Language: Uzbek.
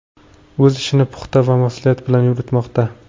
O‘z ishini puxta va mas’uliyat bilan yuritmoqda.